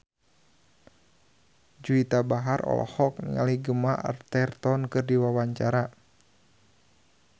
Juwita Bahar olohok ningali Gemma Arterton keur diwawancara